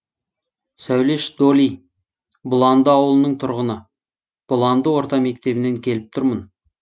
сәулеш доли бұланды ауылының тұрғыны бұланды орта мектебінен келіп тұрмын